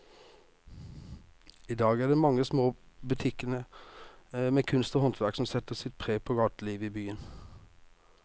I dag er det de mange små butikkene med kunst og håndverk som setter sitt preg på gatelivet i byen.